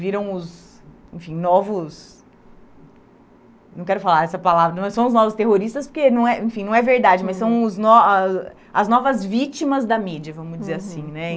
Viram os enfim novos... Não quero falar essa palavra, mas são os novos terroristas, porque não é, enfim, não é verdade, mas são os no a as novas vítimas da mídia, vamos dizer assim né.